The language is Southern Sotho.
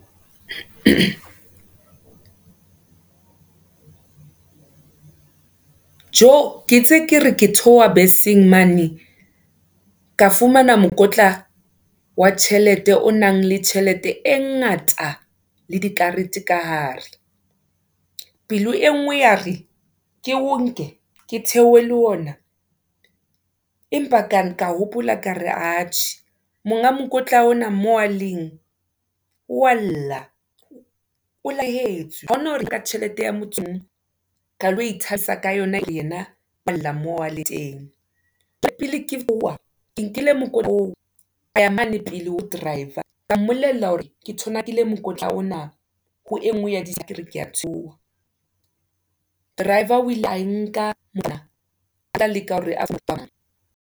Tjoe ke itse kere ke theoha beseng mane, ka fumana mokotla, wa tjhelete, o nang le tjhelete e ngata, le di karete ka hare. Pelo e ngwe ya re ke o nke, ke theohe le ona, empa ka ka hopola kare atjhe, monga mokotla ona, moo a leng walla, o lahlehatswe, ha ona hore ka tjhelete, ya metso e nngwe, ka lo ithabisa ka yona, e le hore yena o walla moo a le teng. Ka pele ka bua, ke nkile mokotla oo, kaya mola pele ho driver, ka mmollela hore ke thonakile mokotla ona, ho engwe ya di tulo kere keya theoha. Driver o ile a e nka, mara otla leka hore a?